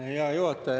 Hea juhataja!